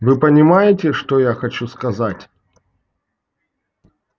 вы понимаете что я хочу сказать